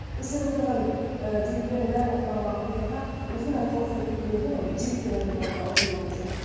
осы жерде отырған ыыы жігіттердің бәрінің құлағына алтын сырға осындай қылық істеп кеткеннен кейін оны жігіт деп айтуға да ауызым бармаушы еді